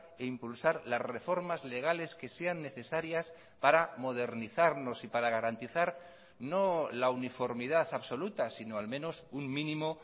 e impulsar las reformas legales que sean necesarias para modernizarnos y para garantizar no la uniformidad absoluta sino al menos un mínimo